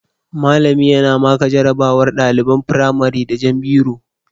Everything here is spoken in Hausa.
Mallami yana maka jarabawar ɗaliban firamare da jan biro